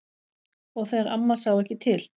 Og þegar amma sá ekki til.